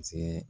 Z